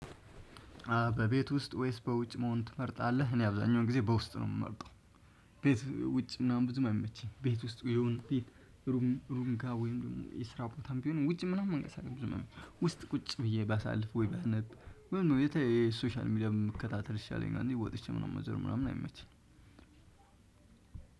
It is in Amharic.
በቤት ውስጥ ወይስ በውጭ መሆን ትመርጣለህ? እኔ አብዛኛውን ጊዜ በውስጥ ነው የምመርጠው። ቤት ውጭ ምናምን ብዙም መመቼ ቤት ውስጥ ይሁን ቤት ሩም ሩምጋ ወይም ደግሞ የስራ ቦታም ቢሆንም ውጭ ምናምን መንገስ አለብኝ። ዝም ውስጥ ቁጭ ብዬ ባሳልፍ ወይ ባነብ ምኑ የተ ሶሻል ሚዲያ መከታተል ይሻለኛል። ወጥቼ ምናምን መዞር ምናምን አይመችም።